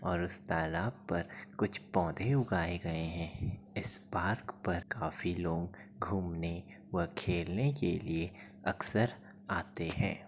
और उस तालाब पर कुछ पौधे उगाये गए हैं इस पार्क पर काफी लोग घूमने व खेलने के लिए अक्सर आते हैं |